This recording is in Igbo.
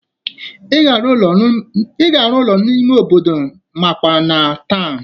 Ị ga-arụ ụlọ n'ime obodo makwa na tawnụ